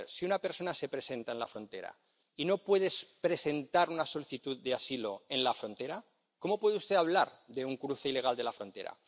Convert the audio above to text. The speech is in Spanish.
vamos a ver si una persona se presenta en la frontera y no puede presentar una solicitud de asilo en la frontera, ¿cómo puede usted hablar de un cruce ilegal de la frontera?